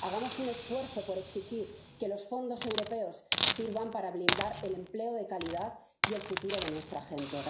Hagamos un esfuerzo por exigir que los fondos europeos sirvan para blindar el empleo de calidad y el futuro de nuestra gente.